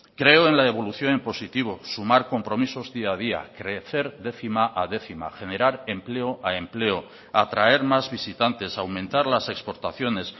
creo en la evolución en positivo sumar compromisos día a día crecer décima a décima generar empleo a empleo atraer más visitantes aumentar las exportaciones